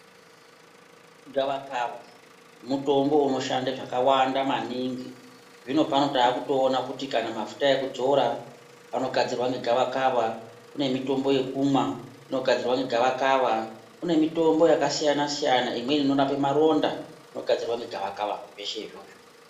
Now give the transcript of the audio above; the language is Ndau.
Gavakava ,mutombo unoshanda zvakawanda maningi. Zvinopano taakutoona kuti kana mafuta ekudzora anogadzirwa negavakava. Kune mitombo yekumwa ,inogadzirwa ngegavakava. Kune mitombo yakasiyana- siyana imweni inorape maronda inogadzirwa negavakava zveshe izvozvo.